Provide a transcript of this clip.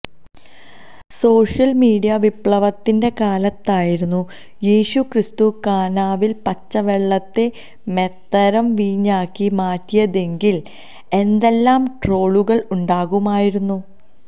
social media വിപ്ലവത്തിന്റെ കാലത്തായിരുന്നു യേശുക്രിസ്തു കാനാവിൽ പച്ചവെള്ളത്തെ മേത്തരം വീഞ്ഞാക്കി മാറ്റിയതെങ്കിൽ എന്തെല്ലാം ട്രോളുകൾ ഉണ്ടാകുമായിരുന്നു